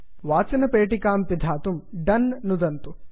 वाचनपेटिकां पिधातुं दोने डन् नुदन्तु